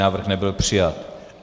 Návrh nebyl přijat.